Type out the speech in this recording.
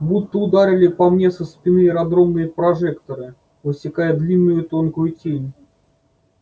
будто ударили по мне со спины аэродромные прожекторы высекая длинную тонкую тень